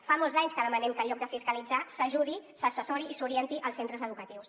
fa molts anys que demanem que en lloc de fiscalitzar s’ajudi s’assessori i s’orienti els centres educatius